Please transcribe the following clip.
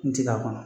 N ti k'a kɔnɔ